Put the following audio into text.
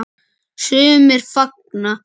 Sumir fagna.